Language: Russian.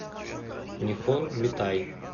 нихон митай